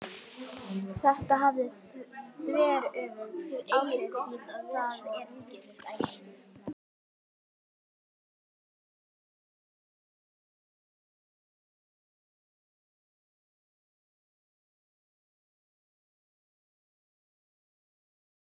Mig langar að hann haldi áfram að sjúga mig.